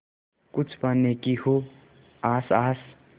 कुछ पाने की हो आस आस